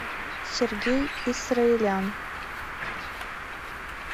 сергей исраэлян